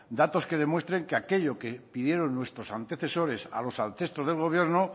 datos que demuestren que aquello que pidieron nuestros antecesores a los ancestros del gobierno